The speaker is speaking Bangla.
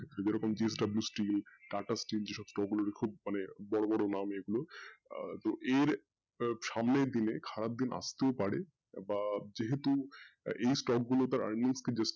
যেরকম TATA steel ওগুলো খুব মানে বড় বড় নাম এগুলো আহ তো এর সাম্নের দিনে খারাপ দিনে বাড়ে বা যেহেতু এই stock গুলো তার earning